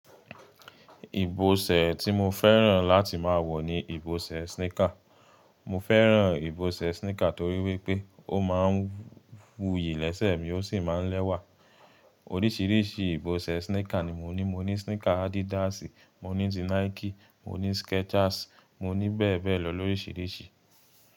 Ìbọṣẹ̀ tí mo fẹ́ràn láti máa wọ̀ ni ìbọṣẹ̀ sneaker. Mo fẹ́ràn ìbọṣẹ̀ sneaker torí wípé ó máa ń wuyì lẹ́sẹ̀ mi ó sì máa ń lẹ́wà. Oríṣiríṣi ìbọṣẹ̀ sneaker ni mo ní. Mo ní sneaker Adidas, mo ní ti Nike, mo ní Skechers, mo ní bẹ́ẹ̀ bẹ́ẹ̀ lọ lóríṣiríṣi.